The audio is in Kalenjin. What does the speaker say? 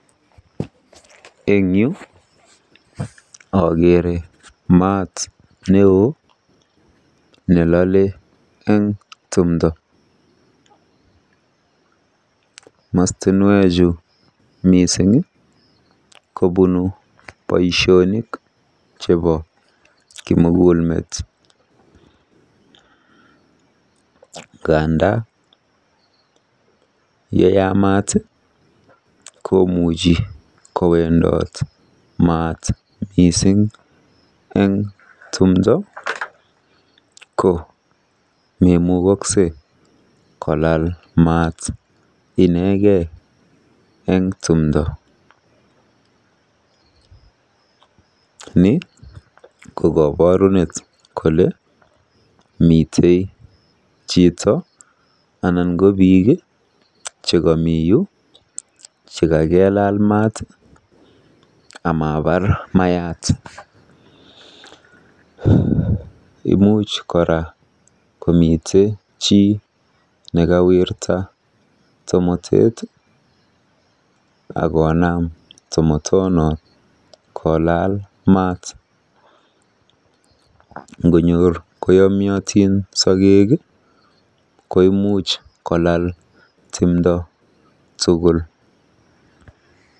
Eng yu akeere maat neo nelole eng timdo. Mastinwechu kobunu boisionik chebo kimugulmet. Nganda yeyamat komuchi kowendot maat mising eng timdo, ko memukoksei kolal maat inekei eng timdo. Ni ko kaborunet kole mite chito anan ko biik chgekamiyu chekakelaal maat amabar mayat. Imuch kora komitei chito nekawirta tomotet akonam tomotonot kolaal maat. Ngonyor koyomyotin sogeek koimuch kolal timdo tugul.